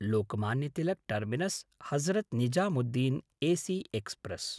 Lokmanya Tilak टर्मिनस्–हजरत् Nizamuddin AC express